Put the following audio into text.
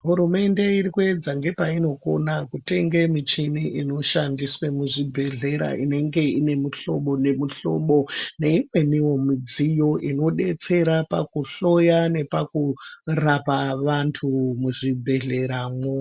Hurumende iri kuedza ngepainokona kutenge michini inoshandiswe muzvibhedhlera inenge ine muhlobo nemuhlobo, neimweniwo mudziyo inodetsera pakuhloya nepakurapa vantu muzvibhedhlera mwo.